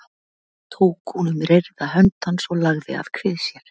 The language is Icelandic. Tók hún um reyrða hönd hans og lagði að kvið sér.